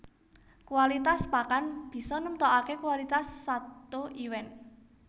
Kualitas pakan bisa nemtokaké kualitas sato iwèn